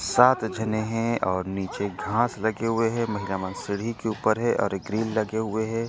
साथ झने हे और नीचे घास लगे हुए हे महिला मन सीढ़ी के ऊपर हे एक गिरिल लगे हुए हे।